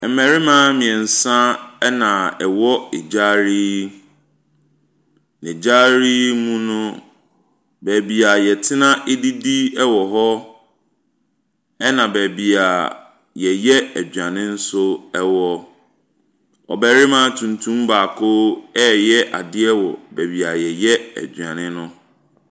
Mmarima mmeɛnsa na wɔwɔ gyaade yi. Gyaade yi mu no, baabi a wɔtenadidi wɔ hɔ, ɛna baabi a wɔyɛ aduane nso wɔ. Ɔbarima tuntum baako rayɛ adeɛ wɔ baabi a wɔyɛ aduane no.